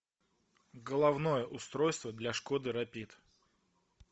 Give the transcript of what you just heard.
головное устройство для шкоды рапид